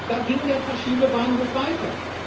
Da ging der Verschiebebahnhof weiter.